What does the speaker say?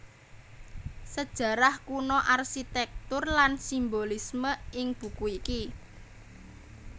Sejarah kuno arsitektur lan simbolisme ing buku iki